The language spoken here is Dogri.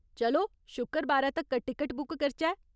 चलो शुक्करबारै तक्कर टिकट बुक करचै ?